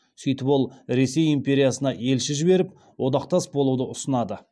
сөйтіп ол ресей империясына елші жіберіп одақтас болуды ұсынады